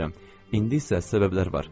İndi isə səbəblər var.